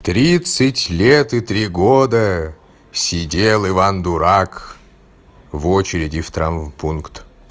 тридцать лет и три года сидел иван-дурак в очереди в травмпункт